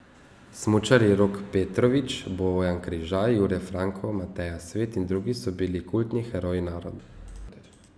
Smučarji Rok Petrović, Bojan Križaj, Jure Franko, Mateja Svet in drugi so bili kultni heroji naroda.